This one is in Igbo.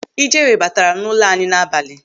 Ijere bataara n'ụlọ anyị n'abalị.